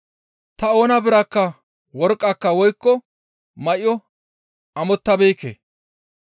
Ta oona biraakka worqqaka woykko may7o ammotabeekke.